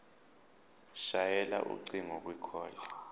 shayela ucingo kwicall